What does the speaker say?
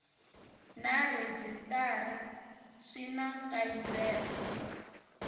na rhejisitara swi na nkayivelo